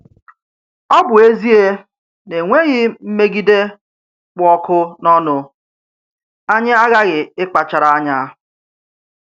Ọ bụ ezie na e nweghị mmégídè kpụ́ ọkụ̀ n’ọnụ́, anyị aghaghị ịkpachara anya.